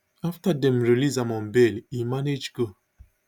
afta dem release am on bail e manage go